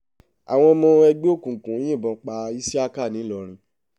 àwọn ọmọ ẹgbẹ́ òkùnkùn yìnbọn pa iṣíákà ńìlọrin